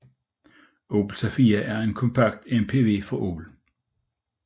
Opel Zafira er en kompakt MPV fra Opel